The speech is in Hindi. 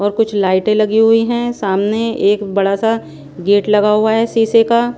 और कुछ लाइटें लगी हुई हैं सामने एक बड़ा सा गेट लगा हुआ है शीशे का --